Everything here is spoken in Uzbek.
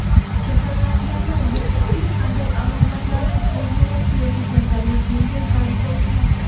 kasallanganlar yoki hech qanday alomatlarni sezmayapti yoki kasallik yengil tarzda o‘tmoqda.